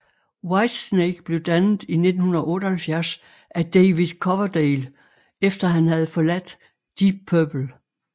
Whitesnake blev dannet i 1978 af David Coverdale efter han havde forladt Deep Purple